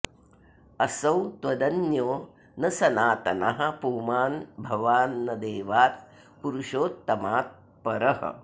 असौ त्वदन्यो न सनातनः पुमान् भवान् न देवात् पुरुषोत्तमात् परः